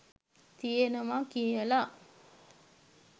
තියෙනව කියල.